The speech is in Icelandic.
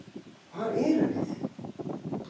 Hvar erum við?